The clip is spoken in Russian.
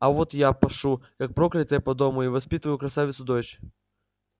а вот я пашу как проклятая по дому и воспитываю красавицу дочь